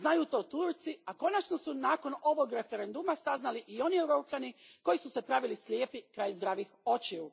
Znaju to Turci, a konačno su nakon ovog referenduma saznali i oni Europljani koji su se pravili slijepi kraj zdravih očiju.